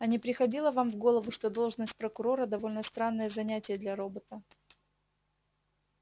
а не приходило вам в голову что должность прокурора довольно странное занятие для робота